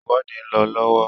ìwọ́de ń lọ lọ́wọ́.